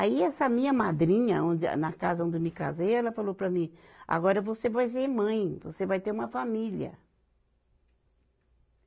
Aí essa minha madrinha, onde é, na casa onde eu me casei, ela falou para mim, agora você vai ser mãe, você vai ter uma família.